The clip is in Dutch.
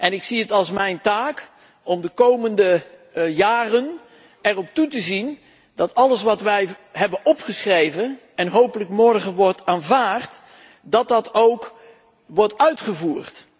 En ik zie het als mijn taak om de komende jaren erop toe te zien dat alles wat wij hebben opgeschreven en hopelijk morgen wordt aanvaard, ook wordt uitgevoerd.